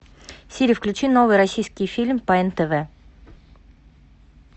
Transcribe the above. сири включи новый российский фильм по нтв